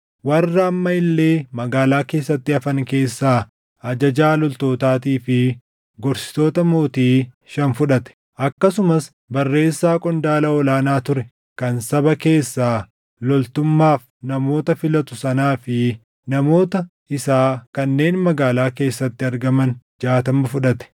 Warra amma illee magaalaa keessatti hafan keessaa ajajaa loltootaatii fi gorsitoota mootii shan fudhate. Akkasumas barreessaa qondaala ol aanaa ture kan saba keessaa loltummaaf namoota filatu sanaa fi namoota isaa kanneen magaalaa keessatti argaman jaatama fudhate.